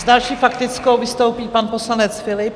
S další faktickou vystoupí pan poslanec Philipp.